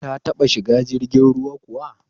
Ta taɓa shiga jirgin ruwa kuwa?